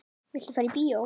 Viltu fara í bíó?